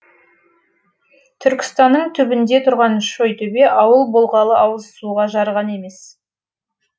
түркістанның түбінде тұрған шойтөбе ауыл болғалы ауызсуға жарыған емес